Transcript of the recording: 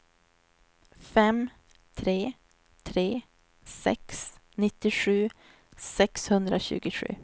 fem tre tre sex nittiosju sexhundratjugosju